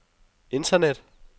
internet